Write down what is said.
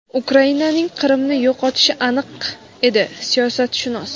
Ukrainaning Qrimni yo‘qotishi aniq edi – siyosatshunos.